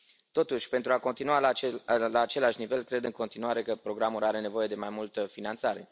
Totuși, pentru a continua la același nivel, cred în continuare că programul are nevoie de mai multă finanțare.